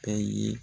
Bɛɛ ye